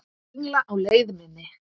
Söngla á leið minni.